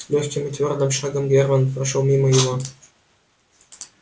лёгким и твёрдым шагом германн прошёл мимо его